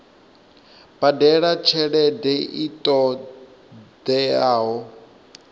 badela tshelede i ṱo ḓeaho